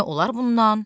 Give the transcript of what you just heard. Nə olar bundan?